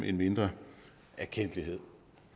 en mindre erkendtlighed